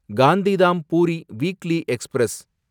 Gandhidham Puri weekly express